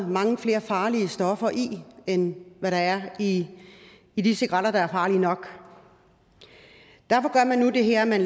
mange flere farlige stoffer i end hvad der er i i de cigaretter der er farlige nok derfor gør man nu det her at man